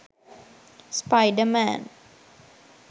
spider man